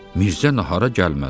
Mirzə nahara gəlmədi.